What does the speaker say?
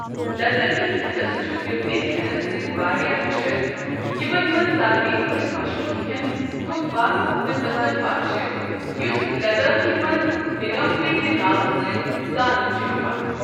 لدٲخۍ کھیٚنس چُھ تِبتی کھیٚنس سۭتۍ واریاہ ہِشر، یِمن منٛزٕ ساروٕے کھۄتہٕ مشہوٗر کھیٚن تھوکپا تہٕ تسمپا چھِ، یُس لدٲخی منٛز نگمپے کہِ ناوٕ سۭتۍ زانٛنہٕ چُھ یِوان۔